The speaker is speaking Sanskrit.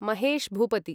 महेश् भूपति